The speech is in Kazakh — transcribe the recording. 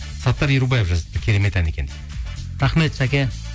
саттар ерубаев жазыпты керемет ән екен рахмет сәке